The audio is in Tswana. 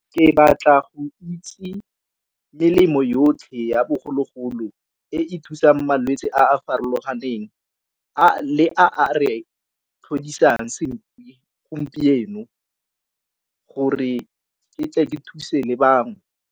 Ke batla go itse melemo yotlhe ya bogologolo e e thusang malwetse a a farologaneng le a re gompieno gore ke thuse le bangwe.